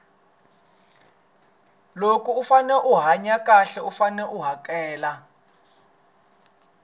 loko u fane u hanya xahle u fane u hakela